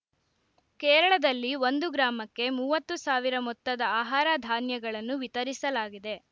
ಕೇರಳದಲ್ಲಿ ಒಂದು ಗ್ರಾಮಕ್ಕೆ ಮೂವತ್ತು ಸಾವಿರ ಮೊತ್ತದ ಆಹಾರ ಧಾನ್ಯಗಳನ್ನು ವಿತರಿಸಲಾಗಿದೆ